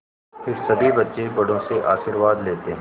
फिर सभी बच्चे बड़ों से आशीर्वाद लेते हैं